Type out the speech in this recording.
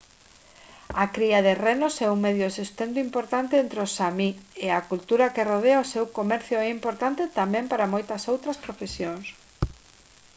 a cría de renos é un medio de sustento importante entre os sámi e a cultura que rodea o seu comercio é importante tamén para moitas outras profesións